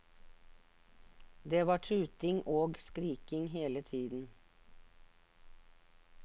Det var tuting og skriking hele tiden.